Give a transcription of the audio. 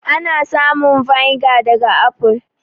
Ana samun vinegar daga aful.